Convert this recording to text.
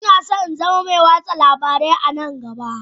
Ina so in zama mai watsa labarai a nan gaba